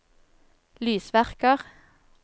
lysverker